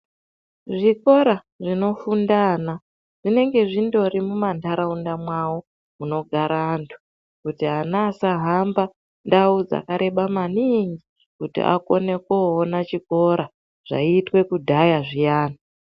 Zvikora zvinofunda ana zvinonga zvindori mumanharaunda mwawo munogara anhu kuti ana asahamba ndau dzakareba maningi kuti akone koonachikora zvaiitwa kudhaya zviyani.